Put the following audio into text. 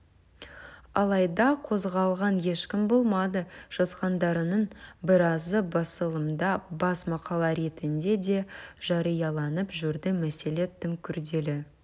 алайда қозғалған ешкім болмады жазғандарының біразы басылымда бас мақала ретінде де жарияланып жүрді мәселе тым күрделі